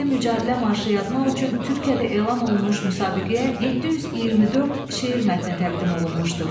Milli Mücadilə marşı yazmaq üçün Türkiyədə elan olunmuş müsabiqəyə 724 şeir mətni təqdim olunmuşdu.